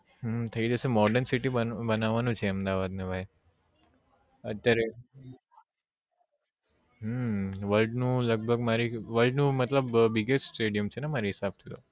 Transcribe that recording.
હમ થઇ જશે modern city બનવાનું છે અત્યારે હમ world નું લગભગ મારી world નું મતલબ biggest stadium છે ને મારી હિસાબ થી